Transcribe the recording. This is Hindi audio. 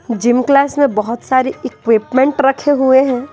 जिम क्लास में बहुत सारे इक्विपमेंट रखे हुए हैं।